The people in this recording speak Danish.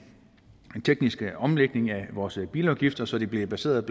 teknisk omlægning af vores bilafgifter så de bliver baseret